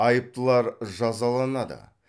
айыптылар жазаланады